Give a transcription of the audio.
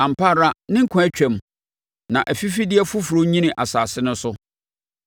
Ampa ara ne nkwa twam, na afifideɛ foforɔ nyini asase no so.